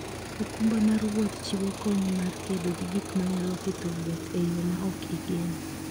okumba mar wuoth chiwo kony mar kedo gi gik manyalo ketho wuoth e yo ma ok igeno.